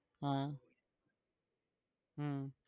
હા હમ